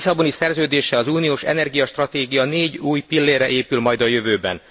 A Lisszaboni Szerződéssel az uniós energiastratégia négy új pillérre épül majd a jövőben.